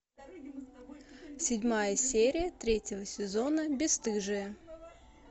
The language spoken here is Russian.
седьмая серия третьего сезона бесстыжие